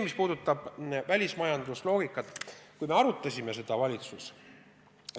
Mis puudutab välismajandust, siis me arutasime seda valitsuses.